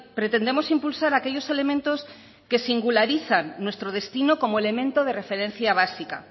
pretendemos impulsar aquellos elementos que singularizan nuestro destino como elemento de referencia básica